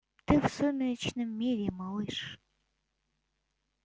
ты в сумеречном мире малыш